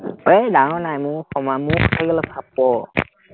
এৰ ডাঙৰ নাই, মোৰ সমা মোতকে থাকি অলপ চাপৰ